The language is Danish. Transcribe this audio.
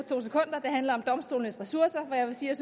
handler om domstolenes ressourcer jeg vil sige at